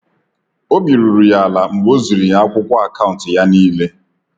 Obi ruru ya ala mgbe o ziri ya akwụkwọ akaụntụ ya n'ile